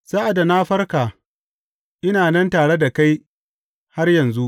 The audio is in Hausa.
Sa’ad da na farka, ina nan tare da kai har yanzu.